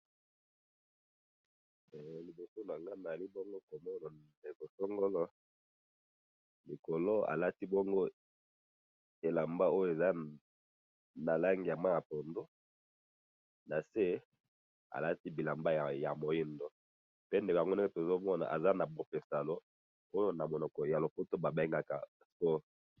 Namoni elenge mobali atelemi , alati na likolo elamba ya mai ya pondu, na se mwindo. aza na kati ya sport.